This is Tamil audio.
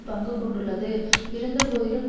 பங்கு கொண்டுள்ளது இருந்த போதிலும்